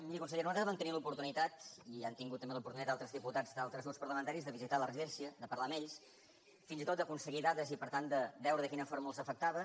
miri consellera nosaltres vam tenir l’oportunitat i han tingut també l’oportunitat altres diputats d’altres grups parlamentaris de visitar la residència de parlar amb ells fins i tot d’aconseguir dades i per tant de veure de quina forma els afectava